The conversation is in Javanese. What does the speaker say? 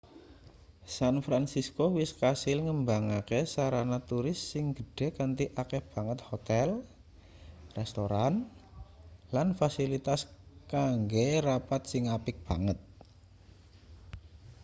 san fransisko wis kasil ngembangke sarana turis sing gedhe kanthi akeh banget hotel restoran lan fasilitas kanggo rapat sing apik banget